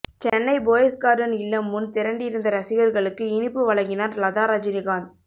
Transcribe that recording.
Chennai Poes Garden இல்லம் முன் திரண்டிருந்த ரசிகர்களுக்கு இனிப்பு வழங்கினார் லதா ரஜினிகாந்த்